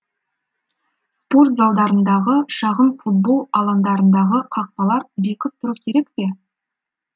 спорт залдарындағы шағын футбол алаңдарындағы қақпалар бекіп тұру керек пе